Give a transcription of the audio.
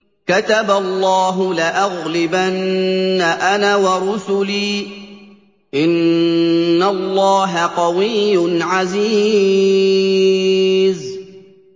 كَتَبَ اللَّهُ لَأَغْلِبَنَّ أَنَا وَرُسُلِي ۚ إِنَّ اللَّهَ قَوِيٌّ عَزِيزٌ